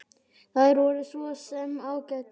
Þær voru svo sem ágætar.